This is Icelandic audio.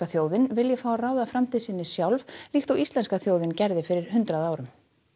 þjóðin vilji fá að ráða framtíð sinni sjálf líkt og íslenska þjóðin gerði fyrir hundrað árum